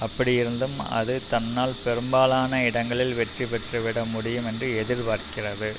அப்படியிருந்தும் அது தன்னால் பெரும்பாலான இடங்களில் வெற்றி பெற்றுவிட முடியும் என்று எதிர்பார்க்கிறது